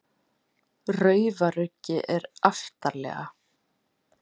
Raufaruggi er aftarlega.